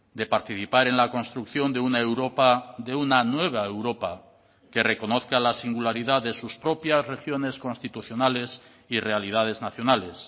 de participar en la construcción de una europa de una nueva europa que reconozca la singularidad de sus propias regiones constitucionales y realidades nacionales